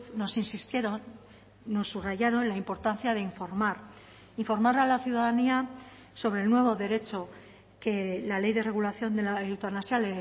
nos insistieron nos subrayaron la importancia de informar informar a la ciudadanía sobre el nuevo derecho que la ley de regulación de la eutanasia